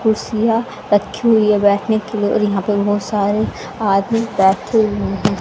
कुर्सियां रखी हुई है बैठने के लिए और यहां पर बहुत सारे आदमी बैठे हुए हैं।